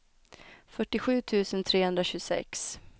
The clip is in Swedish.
fyrtiosju tusen trehundratjugosex